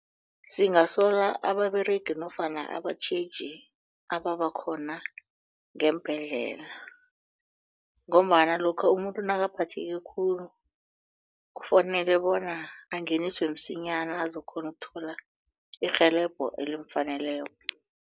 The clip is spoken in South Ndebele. Singasola ababeregi nofana abatjheji ababakhona ngeembhedlela ngombana lokha umuntu nakaphatheke khulu kufanele bona angeniswe msinyana azokukghona ukuthola irhelebho elimfaneleko.